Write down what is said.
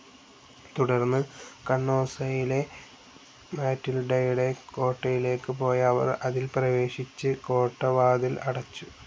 തുടർന്ന് കണ്ണോസയിലെ മറ്റിൽഡയുടെ കോട്ടയിലേക്ക് പോയ അവർ അതിൽ പ്രവേശിച്ച് കോട്ടവാതിൽ അടച്ചു.